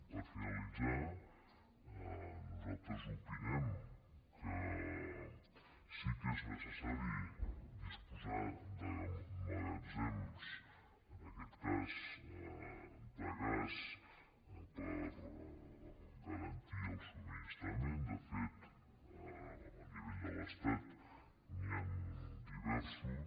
per finalitzar nosaltres opinem que sí que és necessari disposar de magatzems en aquest cas de gas per garantir ne el subministrament de fet a nivell de l’estat n’hi han diversos